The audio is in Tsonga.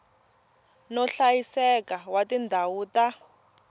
no hlayiseka wa tindhawu ta